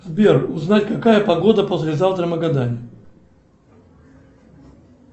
сбер узнать какая погода послезавтра в магадане